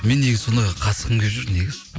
мен негізі сондайға қатысқым келіп жүр негізі